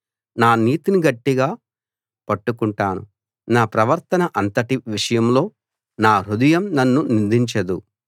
నా నీతిని గట్టిగా పట్టుకుంటాను నా ప్రవర్తన అంతటి విషయంలో నా హృదయం నన్ను నిందించదు